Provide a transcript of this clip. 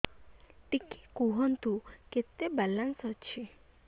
ଟିକେ କୁହନ୍ତୁ କେତେ ବାଲାନ୍ସ ଅଛି